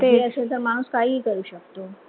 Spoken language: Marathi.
बुद्धी असेल तर माणूस काहीही करू शकतो.